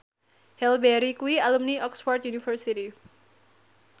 Halle Berry kuwi alumni Oxford university